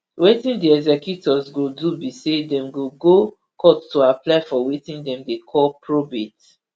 wetin di executors go do be say dem go go court to apply for wetin dem dey call probate